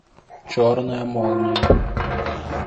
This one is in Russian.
черная молния